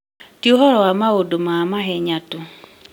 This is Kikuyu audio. Ti ũhoro wa maũndũ ma mahenya tu.